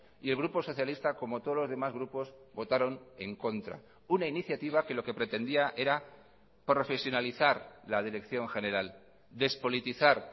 y el grupo socialista como todos los demás grupos votaron en contra una iniciativa que lo que pretendía era profesionalizar la dirección general despolitizar